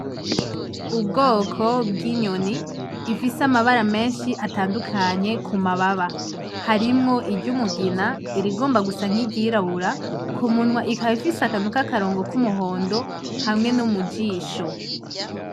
Ubwoko bwinyoni ifise amabara menshi atandukanye kumababa harimwo iryumugina irigomba gusa nkiryirabura kumunwa ikaba ifise akantu kakarongo kumuhondo hamwe no mujisho.